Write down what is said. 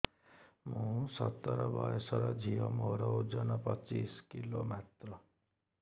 ମୁଁ ସତର ବୟସର ଝିଅ ମୋର ଓଜନ ପଚିଶି କିଲୋ ମାତ୍ର